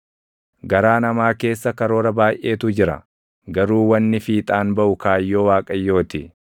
Garaa namaa keessa karoora baayʼeetu jira; garuu wanni fiixaan baʼu kaayyoo Waaqayyoo ti.